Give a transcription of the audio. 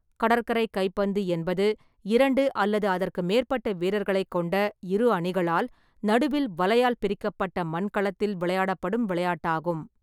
கடற்கரை கைப்பந்து என்பது இரண்டு அல்லது அதற்கு மேற்பட்ட வீரர்களைக் கொண்ட இரு அணிகளால், நடுவில் வலையால் பிரிக்கப்பட்ட மண் களத்தில், விளையாடப்படும் விளையாட்டாகும்.